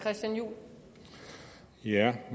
det er